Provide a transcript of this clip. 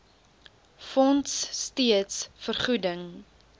fonds steeds vergoeding